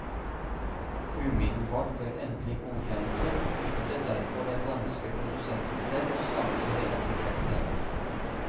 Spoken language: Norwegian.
Umiddelbart før endelig godkjennelse besluttet derfor den danske produsenten selv å stanse hele prosjektet.